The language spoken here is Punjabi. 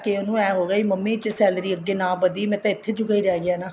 ਉਹਨੂੰ ਏਵੇਂ ਹੋਗਿਆ ਮੰਮੀ ਜੇ salary ਅੱਗੇ ਨਾ ਵਧੀ ਮੈਂ ਤਾਂ ਇੱਥੇ ਜੋਗਾ ਹੀ ਰਹਿ ਗਿਆ ਨਾ